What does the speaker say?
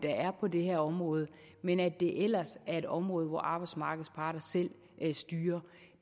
er på det her område men at det ellers er et område hvor arbejdsmarkedets parter selv styrer